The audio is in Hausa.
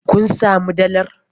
Kun samu dalar?